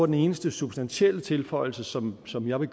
den eneste substantielle tilføjelse som som jeg vil